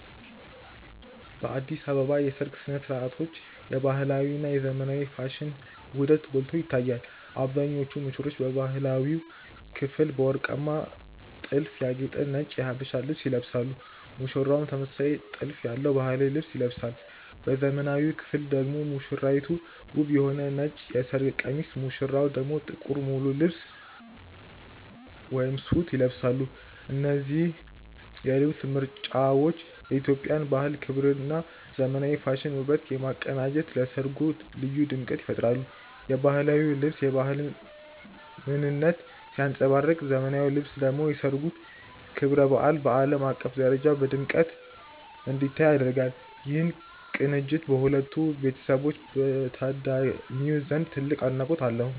በአዲስ አበባ የሰርግ ሥነ ሥርዓቶች የባህላዊ እና የዘመናዊ ፋሽን ውህደት ጎልቶ ይታያል። አብዛኞቹ ሙሽሮች በባህላዊው ክፍል በወርቃማ ጥልፍ ያጌጠ ነጭ የሀበሻ ልብስ ይለብሳሉ ሙሽራውም ተመሳሳይ ጥልፍ ያለው ባህላዊ ልብስ ይለብሳል። በዘመናዊው ክፍል ደግሞ ሙሽራይቱ ውብ የሆነ ነጭ የሰርግ ቀሚስ ሙሽራው ደግሞ ጥቁር ሙሉ ልብስ (ሱት) ይለብሳሉ። እነዚህ የልብስ ምርጫዎች የኢትዮጵያን ባህል ክብርና የዘመናዊ ፋሽን ውበትን በማቀናጀት ለሠርጉ ልዩ ድምቀት ይፈጥራሉ። የባህላዊው ልብስ የባህልን ምንነት ሲያንጸባርቅ ዘመናዊው ልብስ ደግሞ የሠርጉን ክብረ በዓል በዓለም አቀፍ ደረጃ በድምቀት እንዲታይ ያደርጋል። ይህ ቅንጅት በሁለቱ ቤተሰቦችና በታዳሚው ዘንድ ትልቅ አድናቆት አለው።